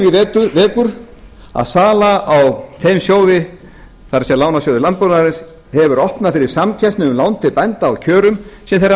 athygli vekur að sala á þeim sjóði það er lánasjóði landbúnaðarins hefur opnað fyrir samkeppni um lán til bænda á kjörum sem þeir hafa